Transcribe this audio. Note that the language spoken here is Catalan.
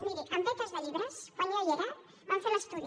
miri beques de llibres quan jo hi era en vam fer l’estudi